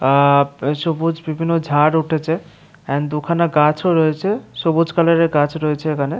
আ সবুজ বিভিন্ন ঝাড় উঠেছে এন্ড দুখানা গাছও রয়েছে সবুজ কালারের গাছ রয়েছে এখানে।